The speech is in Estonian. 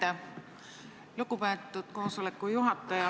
Aitäh, lugupeetud juhataja!